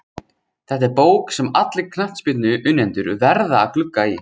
Þetta er bók sem allir knattspyrnuunnendur verða að glugga í.